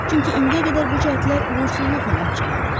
Çünki indiyə qədər bu cəhdlər uğursuzluqla nəticələnib.